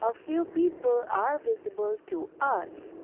a few people are visible to us.